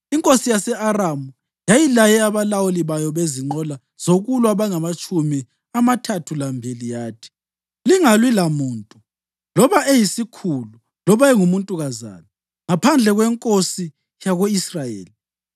Inkosi yase-Aramu yayilaye abalawuli bayo bezinqola zokulwa abangamatshumi amathathu lambili yathi, “Lina lingalwi lamuntu, loba eyisikhulu loba engumuntukazana, ngaphandle kwenkosi yako-Israyeli.”